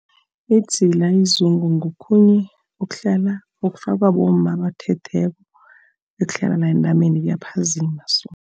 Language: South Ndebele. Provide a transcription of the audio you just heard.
Idzila izungu ngokhunye okuhlala, okufakwa bomma abathethweko, okuhlala la entameni. Kuyaphazima so.